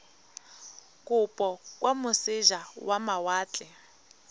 kopo kwa moseja wa mawatle